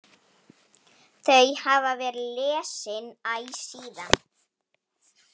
Þau hafa verið lesin æ síðan.